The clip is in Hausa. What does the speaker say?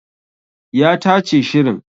Ya tace shirin